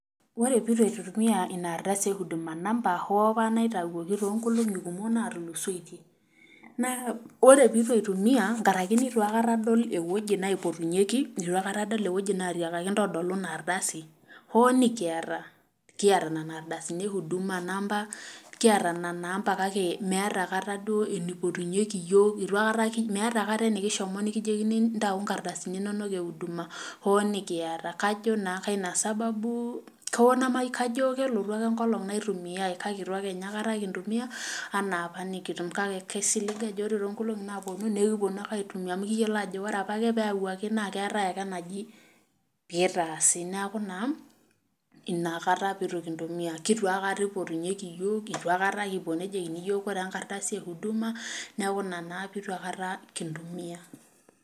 Ore pee eitu aitumiyia ina ardasi eeh huduma number hoo apa neitayioki toonkolongi kumok natulusoitie ,ore pee eitu aitumiyia nkaraki neitu aikata adol eweji naipotunyeki, eitu aikata adol eweji natiakaki intodolu ina ardasi hoo nikiata .kiata nena ardasi kiata nena amba kake meeta duo aikata enaipotunyeki yiook meeta aikata enekishomo nejokini yiok ntau ikardasini inonok ehudma hoo duo nikiata ,kajo naa keina sababu ,kajo kelotu ake enkolong naitumiyae kake eitu ake ninye aikata kitumiya anaapa nekitum .kake aisiling ajo ore toonkolongi naaponu naa ekiponu ake aitumiyia amu kiyiolo ajo ore apa pee eyawaki naa keetai ale aneji pee eitaasaki neeku naa inakata pee eitu kintumiya .leitu aikata eipotunyeki yiok eitu aikata eji koree enkardasi ehudma neeku ina naa aikata pee kitu kintumiya.